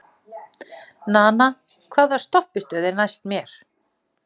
Nana, hvaða stoppistöð er næst mér?